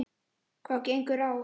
Hvað gengur á!